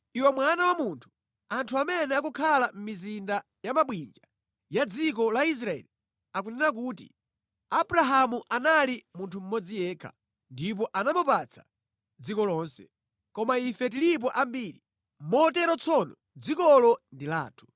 “Iwe mwana wa munthu, anthu amene akukhala mʼmizinda ya mabwinja ya dziko la Israeli akunena kuti, ‘Abrahamu anali munthu mmodzi yekha, ndipo anamupatsa dziko lonse. Koma ife tilipo ambiri, motero tsono dzikolo ndi lathu.’